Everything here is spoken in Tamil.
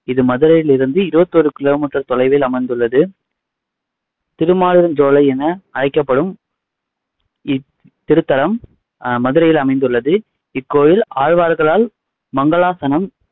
இது மதுரையிலிருந்து இருவத்தி ஓரு kilometer தொலைவில் அமைந்துள்ளது திருமாலிருஞ்சோலை என அழைக்கப்படும் இக் இத்திருத்தலம் ஆஹ் மதுரையில் அமைந்துள்ளது இக்கோவில் ஆழ்வார்களால் மங்களாசனம்